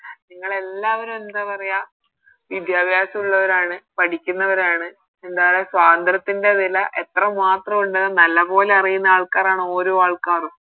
നിങ്ങളെല്ലാവരും എന്താ പറയാ വിദ്യാഭ്യാസം ഇള്ളോവരാണ് പഠിക്കുന്നവരാണ് എന്താ പറയാ സ്വാതന്ത്രത്തിൻറെ വില എത്ര മാത്രം ഉണ്ടെന്ന് നല്ലപോലെ അറിയുന്ന ആൾക്കാരാണ് ഓരോ ആൾക്കാരും